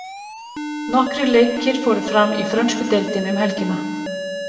Nokkrir leikir fóru fram í frönsku deildinni um helgina.